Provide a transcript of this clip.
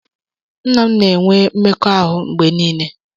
Nna m na-enwe mmekọahụ mgbe niile.